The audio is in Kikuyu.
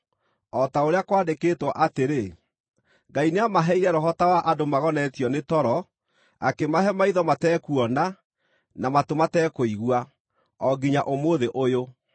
o ta ũrĩa kwandĩkĩtwo atĩrĩ: “Ngai nĩamaheire roho ta wa andũ magonetio nĩ toro, akĩmahe maitho matekuona, na matũ matekũigua, o nginya ũmũthĩ ũyũ.”